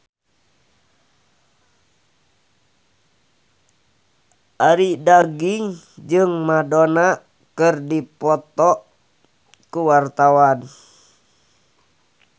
Arie Daginks jeung Madonna keur dipoto ku wartawan